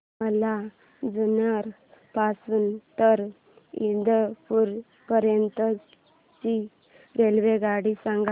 मला जुन्नर पासून तर इंदापूर पर्यंत ची रेल्वेगाडी सांगा